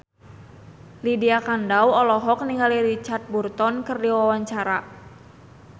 Lydia Kandou olohok ningali Richard Burton keur diwawancara